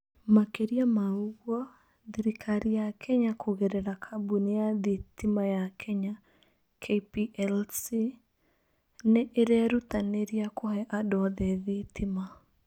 Makĩria ma ũguo, thirikari ya Kenya kũgerera kambuni ya thitima ya Kenya (KPLC) nĩ ĩrerutanĩria kũhe andũ othe thitima.